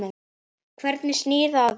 Hvernig snýr það að þér?